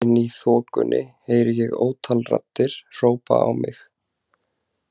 Inni í þokunni heyri ég ótal raddir hrópa á mig.